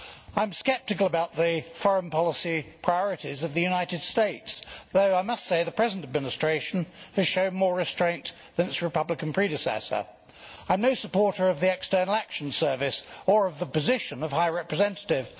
I am sceptical about the foreign policy priorities of the United States, though I must say the present administration is showing more restraint than its republican predecessor. I am no supporter of the European External Action Service or of the position of High Representative.